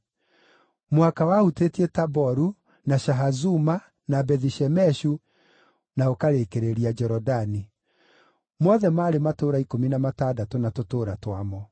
Mũhaka wahutĩtie Taboru, na Shahazuma, na Bethi-Shemeshu, na ũkarĩkĩrĩria Jorodani. Mothe maarĩ matũũra ikũmi na matandatũ na tũtũũra twamo.